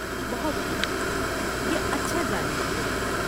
بہت خوب! یہ اچھا جاننے کو ملا۔